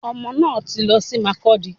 Omo náà tí lọ sí Mákọdi